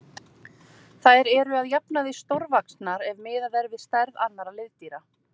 Þær eru að jafnaði stórvaxnar ef miðað er við stærð annarra liðdýra.